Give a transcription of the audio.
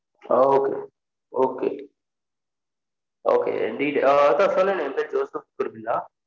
Okay okay okay என் detail out of